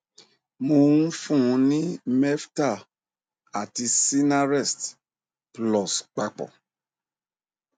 mò ń fún un ní meftal àti sinarest plus papọ